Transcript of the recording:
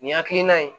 Nin hakilina in